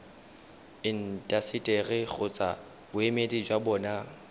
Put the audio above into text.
intaseteri kgotsa boemedi jwa bona